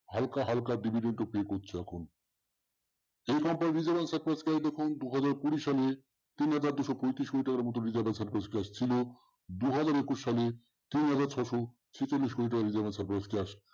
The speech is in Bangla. হালকা হালকা divident ও pay করছে এখন company তে দু হাজার কুড়ি সালে তিনহাজার দুইশ পঁয়ত্রিশ কোটি টাকার মতন দু হাজার একুশ সালে তিনহাজার ছয়শ ছেচল্লিশ কোটি টাকা